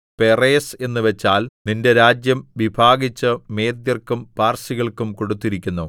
പെറേസ് എന്നുവച്ചാൽ നിന്റെ രാജ്യം വിഭാഗിച്ചു മേദ്യർക്കും പാർസികൾക്കും കൊടുത്തിരിക്കുന്നു